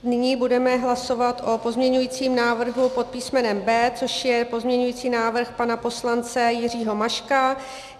Nyní budeme hlasovat o pozměňovacím návrhu pod písmenem B, což je pozměňovací návrh pana poslance Jiřího Maška.